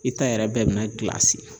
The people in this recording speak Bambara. I ta yɛrɛ bɛɛ bi na gilasi.